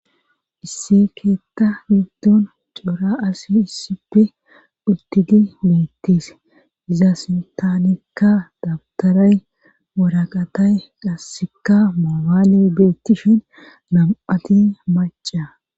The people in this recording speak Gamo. isse keetta giddoon cora asi issipfe uttidi meettis iza sintanekka dabtoray woraqatay dhassikka maobaali beettishin nam7ati maca